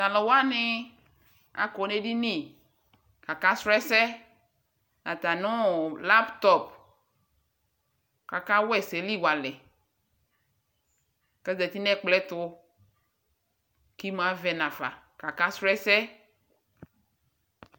Taluwanii akɔ nedini kaka srɔɔ ɛsɛɛ atamiɔ laptop kaka wɛsɛli walɛ kazati nɛkplɔɛtu kimuavɛ nafa kaka srɔɔ ɛsɛɛ